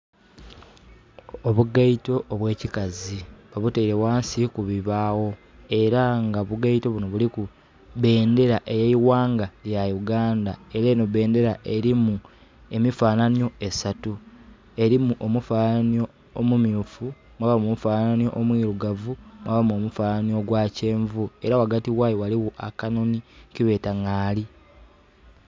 Obugaito obwekikazi babutaile ghansi kubibaagho era nga obugaito bunho buliku bendhera ey'eighanga lya Yugandha era enho bendhera erimu emifanhanhio esatu erimu omufanhanhio omumiufu, mwabamu omufanhanhio omuilugavu mwabamu omufanhanhio gwakyenvu era ghagati ghaayo ghaligho akanhonhi kebeeta ngaali.